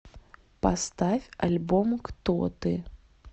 поставь альбом кто ты